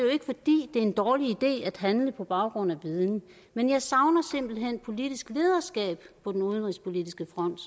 er en dårlig idé at handle på baggrund af viden men jeg savner simpelt hen politisk lederskab på den udenrigspolitiske front